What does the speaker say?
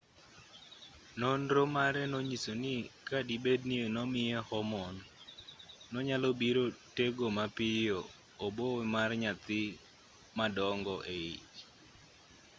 nonro mare nonyiso ni kadibed ni nomiye hormone nonyalobiro tego mapiyo obo mar nyathi madongo eich